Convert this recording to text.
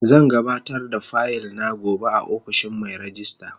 Zan gabatar da fayil na gobe a ofishin Mai rejista.